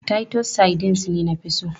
Titus sardines ne na fi so.